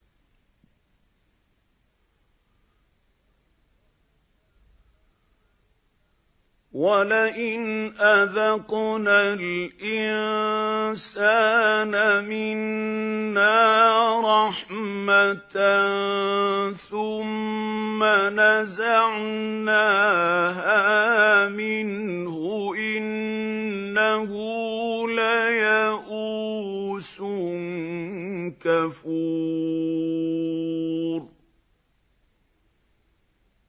وَلَئِنْ أَذَقْنَا الْإِنسَانَ مِنَّا رَحْمَةً ثُمَّ نَزَعْنَاهَا مِنْهُ إِنَّهُ لَيَئُوسٌ كَفُورٌ